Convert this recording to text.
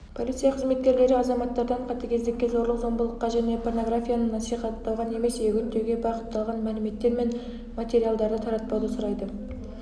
полиция қызметкерлері азаматтардан қатыгездікке зорлық-зомбылыққа және порнографияны насихаттауға немесе үгіттеуге бағытталған мәліметтер мен материалдарды таратпауды сұрайды